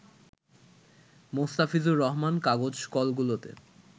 মোস্তাফিজুর রহমান কাগজ কলগুলোতে